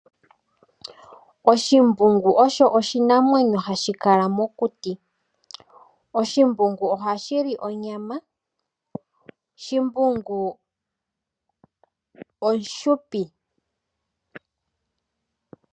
Embungu olyo oshinamwenyo hashi kala mokuti. Embungu ohali li onyama. Shimbungu omufupi.